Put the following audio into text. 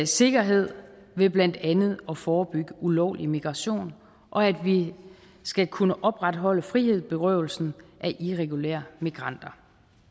sikkerhed ved blandt andet at forebygge ulovlig migration og at vi skal kunne opretholde frihedsberøvelsen af irregulære migranter